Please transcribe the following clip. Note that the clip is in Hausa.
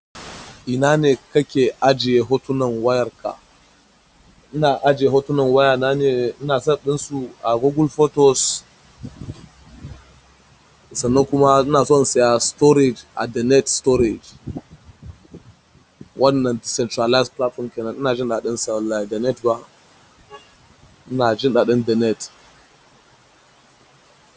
Ina ne kake ajiye hotunan wayarka? Ina ajiye hotunan wayana ne, ina sa ɗinsu a Google Photos sannan kuma ina so in saya storage a DaNet Storage. Wanna decentralized platform kenan. Ina jin daɗin sa wallahi DaNet ba. Ina jin daɗin DaNet.